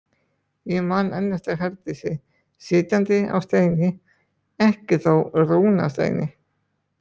Ég man enn eftir Herdísi sitjandi á steini, ekki þó rúnasteini.